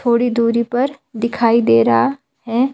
थोड़ी दूरी पर दिखाई दे रहा है.